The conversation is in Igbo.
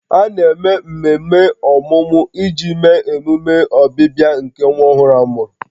A na-eme mmemme ọmụmụ iji mee emume ọbịbịa nke nwa ọhụrụ a mụrụ